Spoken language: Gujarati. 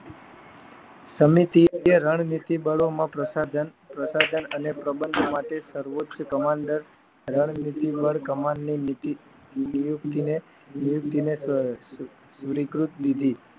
સમિતિ કે રણનીતિ બળોમાં પ્રસાધન પ્રસાધન અને પ્રબંધ માટે સર્વોચ્ચ કમાન્ડર રણમિતિ પર કમાલની નીતિ ને